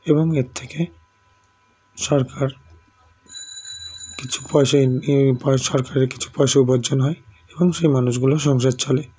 এবং এরথেকে সরকার কিছু পয়সা ইনআ পয় সরকারের কিছু পয়সা উপার্যন হয় এবং সেই মানুষগুলোর সংসার চলে